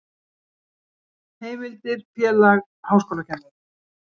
Heimildir Félag háskólakennara.